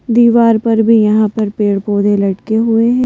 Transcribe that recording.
दीवार पर भी यहां पर पेड़-पौधे लटके हुए --